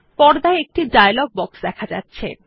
পর্দায় একটি dialogue box দেখা যাচ্ছে